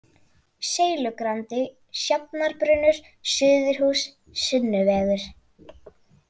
Seilugrandi, Sjafnarbrunnur, Suðurhús, Sunnuvegur